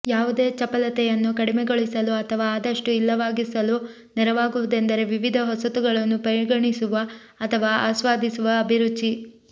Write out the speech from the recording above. ಯಾವುದೇ ಚಪಲತೆಯನ್ನು ಕಡಿಮೆಗೊಳಿಸಲು ಅಥವಾ ಆದಷ್ಟು ಇಲ್ಲವಾಗಿಸಲು ನೆರವಾಗುವುದೆಂದರೆ ವಿವಿಧ ಹೊಸತುಗಳನ್ನು ಪರಿಗಣಿಸುವ ಅಥವಾ ಆಸ್ವಾದಿಸುವ ಅಭಿರುಚಿ